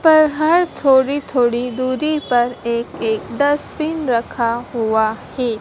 पर हर थोड़ी थोड़ी दूरी पर एक एक डस्टबिन रखा हुआ है।